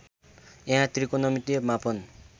यहाँ त्रिकोणमितिय मापन